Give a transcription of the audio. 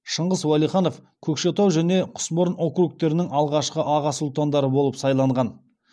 шыңғыс уәлиханов көкшетау және құсмұрын округтерінің алғашқы аға сұлтандары болып сайланған